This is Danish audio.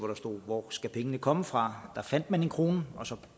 der stod hvor skal pengene komme fra da fandt man en krone og så